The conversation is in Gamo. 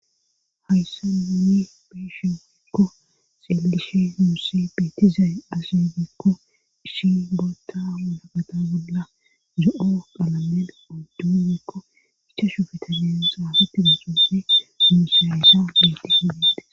Hayssa ninni beshiiikko xeelishe muussi beetizay asidikko ishi bootta unabada bolla zo'o qalamel odduuyeekko ichashu fetabeen xaafate muxuussi muusiaysa betisidide.